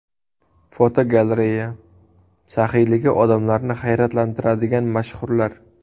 Fotogalereya: Saxiyligi odamlarni hayratlantiradigan mashhurlar.